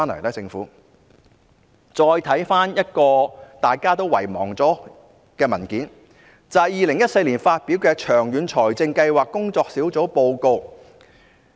大家再看看一份已經被人遺忘的文件，就是2014年發表的長遠財政計劃工作小組報告。